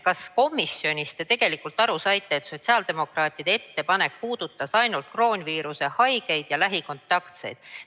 Kas te komisjonis tegelikult saite aru, et sotsiaaldemokraatide ettepanek puudutas ainult kroonviiruse haigeid ja lähikontaktseid?